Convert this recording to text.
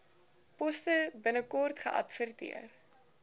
poste binnekort geadverteer